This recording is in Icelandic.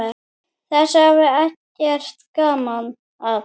Þessu hafði Eggert gaman af.